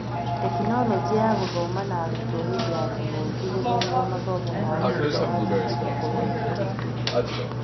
Tekinoronjĩ ya Gũthoma na arutwo hĩndĩ ya kĩng'ũki gũthogwo mathamo mao thutha wa Thukuru gũkorwo ihingĩtwo